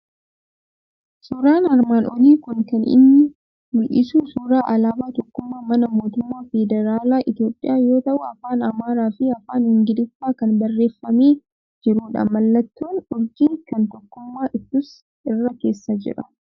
Suuraan armaan olii kun kan inni mul'isu suuraa alaabaa tokkummaa manaa Mootummaa Federaalaa Itoophiyaa yoo ta'u, afaan Amaaraa fi afaan Ingiliffaan kan barreeffamee jirudha. Mallattoon urjii kan tokkummaa ibsus irra keessa jira.